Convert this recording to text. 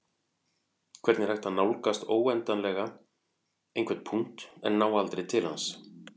hvernig er hægt að nálgast óendanlega einhvern punkt en ná aldrei til hans